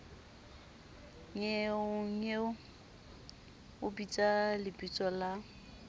nnyeonyeo o bitsa lebitso la